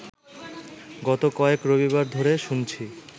গত কয়েক রবিবার ধরে শুনছি